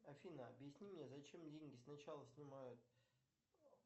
афина объясни мне зачем деньги сначала снимают